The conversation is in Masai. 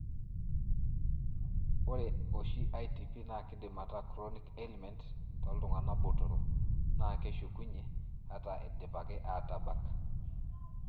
Ore oshi, ITP na kindim ata chronic ailment toltungana botoro, na keshukunyie ,ata indipaki atabak.